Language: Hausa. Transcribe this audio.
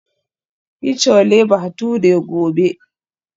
Yi Chole Bhature gobe.